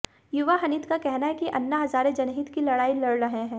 युवा हनित का कहना है कि अन्ना हजारे जनहित की लड़ाई लड़ रहे हैं